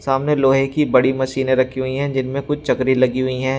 सामने लोहे की बड़ी मशीने रखी हुई है जिनमें कुछ चकरी लगी हुई हैं।